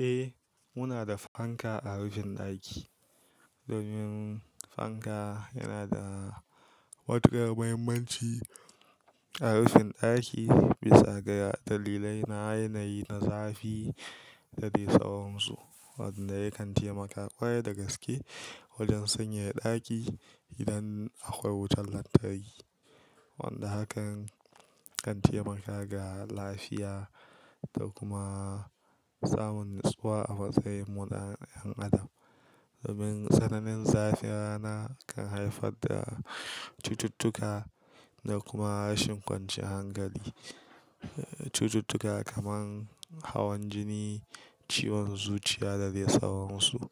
Eh, muna da fanka a rufin ɗaki. Domin fanka yana da matukar muhimmanci a rufin ɗaki bisa ga dalilai na yanayi na zafi da dai tsawonsu, wanda ya kan taimaka ƙwarai da gaske wajen sanyaya ɗaki idan akwai wutar lantarki. Wanda hakan kan taimaka ga lafiya da kuma samun nutsuwa a matsayin mu na 'yan adam. Domin tsananin zafin rana kan haifar da cututtuka da kuma rashin kwanciyar hankali. Cututtuka kamar hawan jini, ciwon zuciya da dai sauransu,